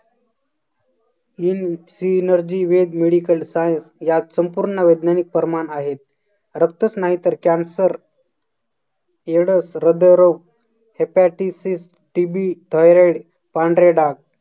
in synergy with medical science या संपूर्ण वैज्ञानिक प्रमाण आहेत. रक्तच नाही तर cancer AIDS हृदयरोग, hepatisisTBthyroid पांढरे डाग